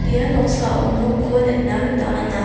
ia noksao nokko nikna gita man·a.